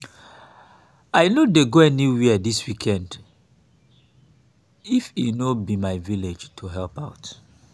i no dey go anywhere dis weekend if e no be my village to help out